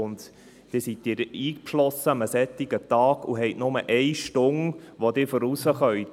Und Sie sind dann an einem solchen Tag eingeschlossen und haben nur eine Stunde, während der sie hinausgehen können.